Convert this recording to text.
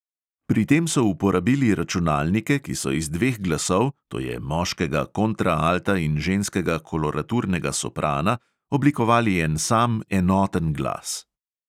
Pri tem so uporabili računalnike, ki so iz dveh glasov, to je moškega kontraalta in ženskega koloraturnega soprana, oblikovali en sam, enoten glas.